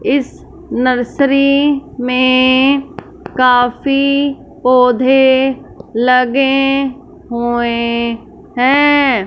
इस नर्सरी में काफी पौधे लगे हुए हैं।